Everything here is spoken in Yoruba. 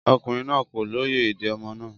Ọkùnrin náà kò lóye èdè ọmọ náà